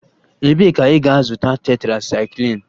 Ebee ka ị ga-azụta tetrasaikilin?